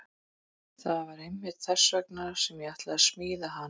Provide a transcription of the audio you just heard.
Það er einmitt þess vegna sem ég ætla að smíða hana.